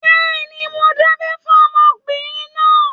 Bẹ́ẹ̀ni, mo dábẹ́ fún ọmọbìnrin náà